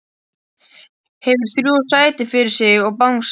Hefur þrjú sæti fyrir sig og bangsa.